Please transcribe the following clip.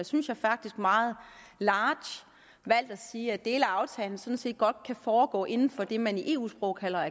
synes jeg faktisk meget large valgt at sige at dele af aftalen sådan set godt kan foregå inden for det man i eu sprog kalder